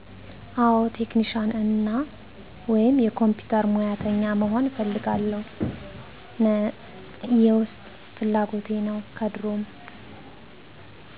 አዎ። ቴክኒሻና ወይም የኮምፒውተር ሙያተኛ መሆን እፈልግ ነበር። የውስጥ ፍላጎቴ ነው ከድሮም